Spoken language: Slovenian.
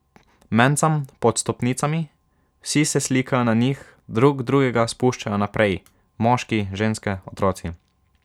Mencam pod stopnicami, vsi se slikajo na njih, drug drugega spuščajo naprej, moški, ženske, otroci.